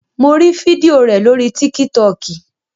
Mo rí fídíò rẹ̀ lórii tíkítọkì